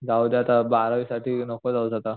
जाऊदे आता बारावी साठी नको जाऊस आता